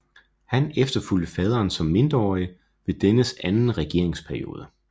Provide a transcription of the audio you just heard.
Han efterfulgte faderen som mindreårig ved dennes anden regeringsperiode